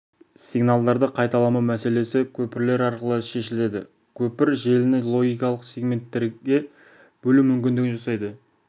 сигналдарды қайталамау мәселесі көпірлер арқылы шешіледі көпір желіні логикалық сегменттерге бөлу мүмкіндігін жасайды